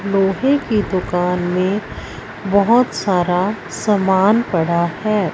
लोहे की दुकान में बहोत सारा समान पड़ा है।